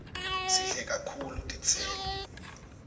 sidle kakhulu titselo